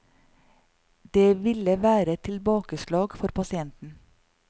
Det ville være et tilbakeslag for pasienten.